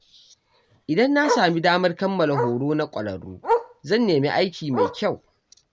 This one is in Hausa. Idan na sami damar kammala horo na ƙwararru, zan nemi aiki mai kyau.